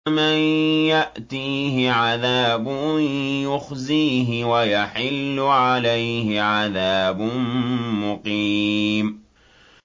مَن يَأْتِيهِ عَذَابٌ يُخْزِيهِ وَيَحِلُّ عَلَيْهِ عَذَابٌ مُّقِيمٌ